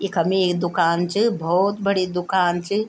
इखम एक दुकान च बहौत बड़ी दुकान च।